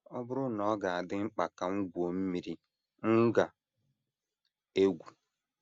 “ Ọ Bụrụ na Ọ Ga - adị Mkpa Ka M Gwuo Mmiri, M Ga - egwu ”